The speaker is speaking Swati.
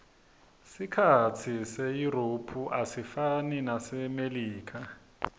sikhatsi seyurophu asifani nesasemelika